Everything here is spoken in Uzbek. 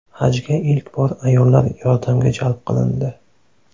Hajga ilk bor ayollar yordamga jalb qilindi.